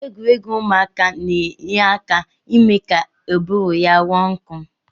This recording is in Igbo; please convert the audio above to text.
Egwuregwu ụmụaka na-enye aka ime ka ụbụrụ ya ghọọ nkọ